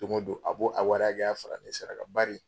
Don o don a b'o a wari ya hakɛya fara ne sarakan bari.